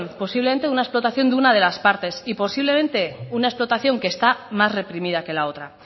posiblemente de una explotación de una de las partes y posiblemente de una explotación que está más reprimida que la otra